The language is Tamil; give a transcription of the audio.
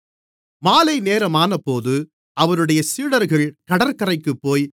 மாலைநேரமானபோது அவருடைய சீடர்கள் கடற்கரைக்குப்போய்